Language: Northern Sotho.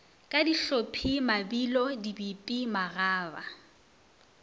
ka dihlophi mabilo dipipi magaba